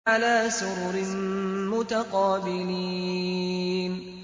عَلَىٰ سُرُرٍ مُّتَقَابِلِينَ